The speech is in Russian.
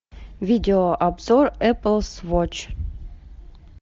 видеообзор эплс вотч